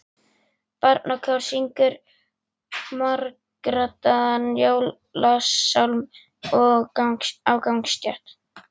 Barnakór syngur margraddaðan jólasálm á gangstétt.